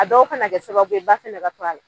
A dɔw kana kɛ sababu ye ba fɛnɛ ka to ala